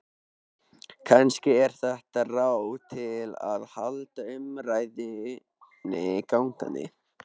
Kannski er þetta ráð til að halda umræðunni gangandi.